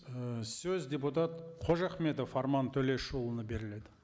ыыы сөз депутат қожахметов арман төлешұлына беріледі